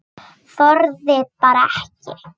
Þorði bara ekki.